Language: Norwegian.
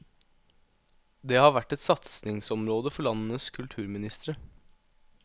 Det har vært et satsingsområde for landenes kulturministre.